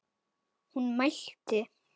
Hún mælti: